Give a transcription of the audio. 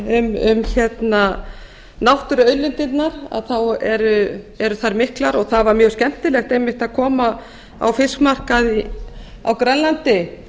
hann ræddi um náttúruauðlindirnar þá eru þær miklar og það var mjög skemmtilegt einmitt að koma á fiskmarkað á grænlandi